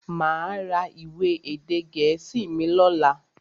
Máa ra ìwé èdè gẹ̀ẹ́sì mi lọ́la.